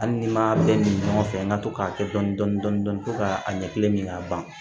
Hali ni m'a bɛɛ min ɲɔgɔn fɛ n ka to k'a kɛ dɔni dɔni dɔni dɔni fɔ ka a ɲɛ kelen min ka ban